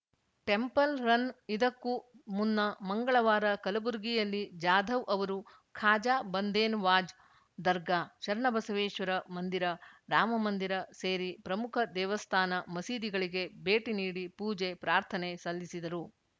temple run ಇದಕ್ಕೂ ಮುನ್ನ ಮಂಗಳವಾರ ಕಲಬುರಗಿಯಲ್ಲಿ ಜಾಧವ್‌ ಅವರು ಖಾಜಾ ಬಂದೇನ್ ವಾಜ್‌ ದರ್ಗಾ ಶರಣಬಸವೇಶ್ವರ ಮಂದಿರ ರಾಮ ಮಂದಿರ ಸೇರಿ ಪ್ರಮುಖ ದೇವಸ್ಥಾನ ಮಸೀದಿಗಳಿಗೆ ಭೇಟಿ ನೀಡಿ ಪೂಜೆ ಪ್ರಾರ್ಥನೆ ಸಲ್ಲಿಸಿದರು